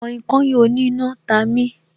Kainkain oní iná ta mi